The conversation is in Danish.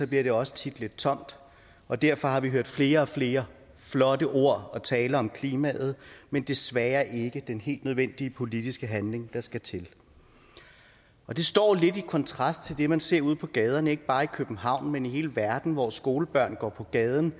bliver det også tit lidt tomt og derfor har vi hørt flere og flere flotte ord og taler om klimaet men desværre ikke den helt nødvendige politiske handling der skal til og det står lidt i kontrast til det man ser ude på gaderne ikke bare i københavn men i hele verden hvor skolebørn går på gaden